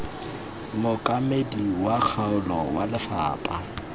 mookamedi wa kgaolo wa lefapha